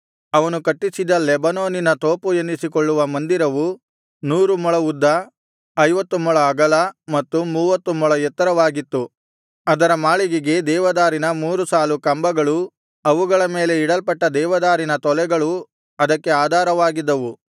ಅವನು ಕಟ್ಟಿಸಿದ ಲೆಬನೋನಿನ ತೋಪು ಎನ್ನಿಸಿಕೊಳ್ಳುವ ಮಂದಿರವು ನೂರು ಮೊಳ ಉದ್ದ ಐವತ್ತು ಮೊಳ ಅಗಲ ಮತ್ತು ಮೂವತ್ತು ಮೊಳ ಎತ್ತರವಾಗಿತ್ತು ಅದರ ಮಾಳಿಗೆಗೆ ದೇವದಾರಿನ ಮೂರು ಸಾಲು ಕಂಬಗಳೂ ಅವುಗಳ ಮೇಲೆ ಇಡಲ್ಪಟ್ಟ ದೇವದಾರಿನ ತೊಲೆಗಳೂ ಅದಕ್ಕೆ ಆಧಾರವಾಗಿದ್ದವು